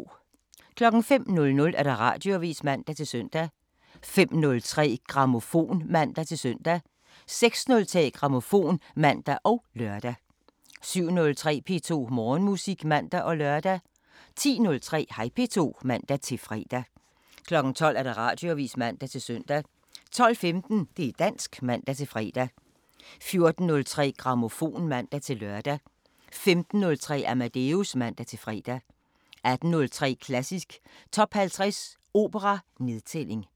05:00: Radioavisen (man-søn) 05:03: Grammofon (man-søn) 06:03: Grammofon (man og lør) 07:03: P2 Morgenmusik (man og lør) 10:03: Hej P2 (man-fre) 12:00: Radioavisen (man-søn) 12:15: Det' dansk (man-fre) 14:03: Grammofon (man-lør) 15:03: Amadeus (man-fre) 18:03: Klassisk Top 50 Opera: Nedtælling